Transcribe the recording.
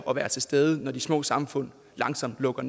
at være til stede når de små samfund langsomt lukker